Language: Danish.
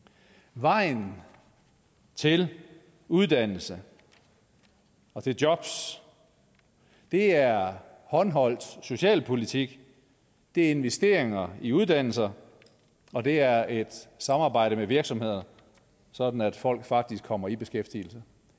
vejen til uddannelse og til jobs er håndholdt socialpolitik det er investeringer i uddannelser og det er et samarbejde med virksomheder sådan at folk faktisk kommer i beskæftigelse